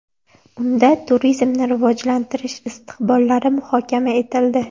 Unda turizmni rivojlantirish istiqbollari muhokama etildi.